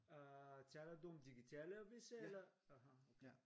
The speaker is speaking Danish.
Øh taler du om digitale aviser eller? Aha okay